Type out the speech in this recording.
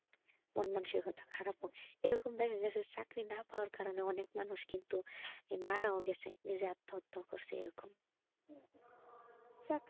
এরকম কিছু চাকরি না পাওয়ার কারণে অনেক মানুষ কিন্তু মারাও আত্মহত্যা করসে,